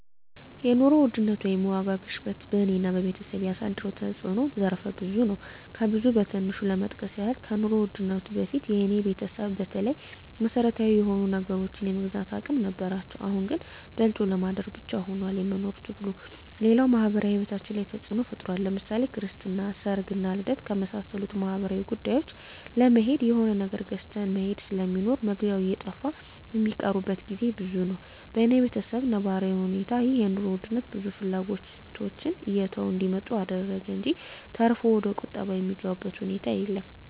የኑሮ ውድነት ወይም የዋጋ ግሽበት በኔና በቤተሰቤ ያሳደረው ተጽኖ ዘርፈ ብዙ ነው። ከብዙ በትንሹ ለመጥቀስ ያክል ከኑሮ ውድነቱ በፊት የኔ ቤተሰብ በተለይ መሰረታዊ የሆኑ ነገሮችን የመግዛት አቅም ነበራቸው አሁን ላይ ግን በልቶ ለማደር ብቻ ሁኗል የመኖር ትግሉ፣ ሌላው ማህበራዊ ሂወታችን ላይ ተጽኖ ፈጥሯል ለምሳሌ ክርስትና፣ ሰርግና ልደት ከመሳሰሉት ማህበራዊ ጉዳዮች ለመሄድ የሆነ ነገር ገዝተህ መሄድ ስለሚኖር መግዣው እየጠፋ ሚቀሩበት ግዜ ብዙ ነው። በኔ በተሰብ ነባራዊ እውነታ ይህ የኑሮ ውድነት ብዙ ፍላጎቶችን እየተው እንዲመጡ አደረገ እንጅ ተርፎ ወደቁጠባ የገቡበት ሁኔታ የለም።